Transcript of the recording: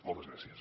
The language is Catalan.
moltes gràcies